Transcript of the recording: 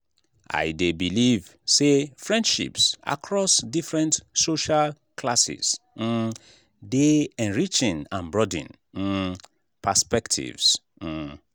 i dey believe say friendships across different social classes um dey enriching and broaden um perspectives. um